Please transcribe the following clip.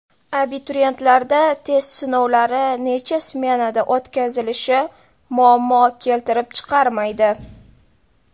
Abituriyentlarda test sinovlari necha smenada o‘tkazilishi muammo keltirib chiqarmaydi.